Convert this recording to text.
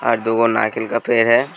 और दू गो का पेंड़ है।